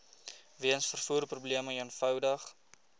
weens vervoerprobleme eenvoudig